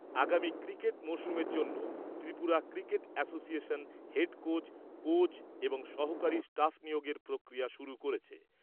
আগামী ক্রিকেট মরশুমের জন্যে Tripura cricket association head coach, coach, এবং সহযোগী স্টাফ নিয়োগের প্রক্রিয়া শুরু করেছে।